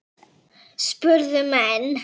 spurðu menn.